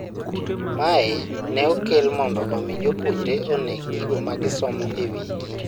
mae ne okel mondo omi jopuonjre on'e gigo magisomoe e wiye